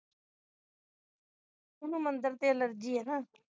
ਉਹਨੂੰ ਮੰਦਰ ਤੋਂ allergy ਹੈ ਨਾ